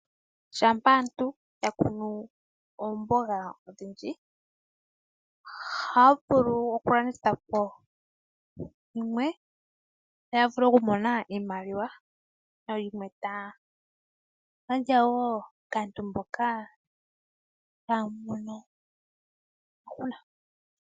Ngele aantu yakunu oomboga odhindji, ohaya vulu okulandithapo dhimwe . Ohaya vulu okumona iimaliwa . Etaya gandja wo kaantu mboka ihaaya mono iiyemo.